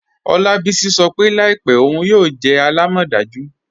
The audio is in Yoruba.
Olabisi sọ́ pe laípẹ̀ ọun yóò jẹ́ àlàmọ́dàjú.